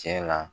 Cɛ la